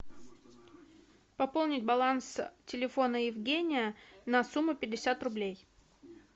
пополнить баланс телефона евгения на сумму пятьдесят рублей